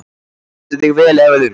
Þú stendur þig vel, Evelyn!